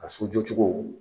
Ka sojɔcogo